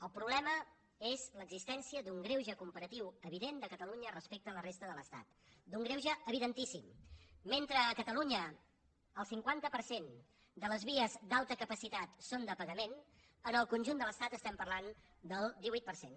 el problema és l’existència d’un greuge comparatiu evident de catalunya respecte a la resta de l’estat d’un greuge evidentíssim mentre a catalunya el cinquanta per cent de les vies d’alta capacitat són de pagament en el conjunt de l’estat estem parlant del divuit per cent